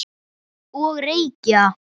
Og reykja.